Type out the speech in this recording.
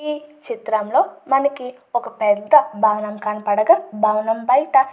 ఈ చిత్రంలో మనకి ఒక పెద్ద భవనం కనపడగా భవనం బయట --